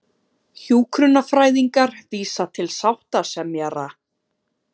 Hjúkrunarfræðingar vísa til sáttasemjara